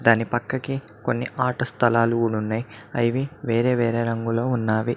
దాని పక్కకి కొన్ని ఆట స్థలాలు ఉన్నాయి అవి వేరే వేరే రంగులో ఉన్నావి.